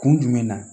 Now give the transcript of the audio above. Kun jumɛn na